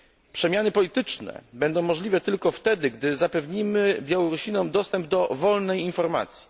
Przemiany polityczne będą możliwe tylko wtedy, gdy zapewnimy Białorusinom dostęp do wolnej informacji.